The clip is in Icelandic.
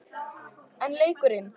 En leikurinn?